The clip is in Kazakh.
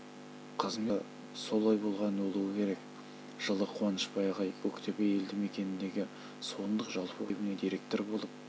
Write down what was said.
қызмет бабы солай болған болуы керек жылы қуанышбай ағай көктөбе елді мекеніндегі суындық жалпы орта мектебіне директор болып